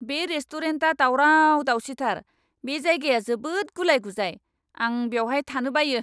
बे रेस्टुरेन्टआ दावराव दावसिथार, बे जायगाया जोबोद गुलाइ गुजाइ, आं बेवहाय थानो बायो।